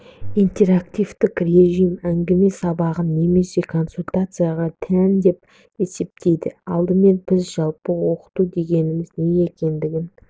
интерактивтік режим әңгіме сабағына немесе консультацияға тән деп есептейді алдымен біз жалпы оқыту дегеніміз не екендігін